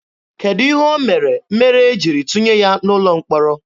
Kedụ ihe o mere mere e jiri tụnye ya n'ụlọ mkpọrọ?